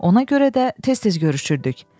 Ona görə də tez-tez görüşürdük.